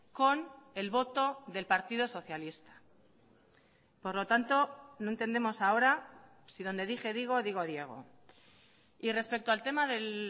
con el voto del partido socialista por lo tanto no entendemos ahora si dónde dije digo digo diego y respecto al tema del